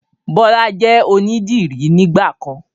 Bọlá jẹ́ onidiri nígbàkan